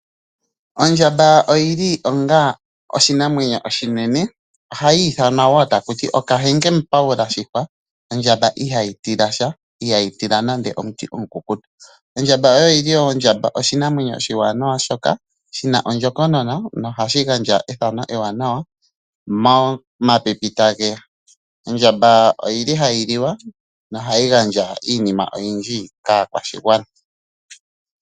Ondjamba oyi li ongaa oshinamwenyo oshinene, ohayi ithanwa woo takuti, Okahenge Mupaula shipa , ondjamba iha yi tila sha, ihayi tila nande omuti omukukutu. Ondjamba oyo oyili woo oshinamwenyo oshiwanawa shina ondjokonona nohashi gandja ethano eewanawa momapipi ta geya. Ondjamba oyi li hayi liwa no hayi gandja iinima oyindji kaakwashigwana.